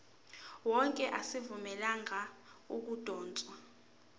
wonke azivunyelwanga ukudotshwa